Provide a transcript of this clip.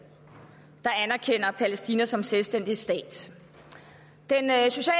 der anerkender palæstina som selvstændig stat den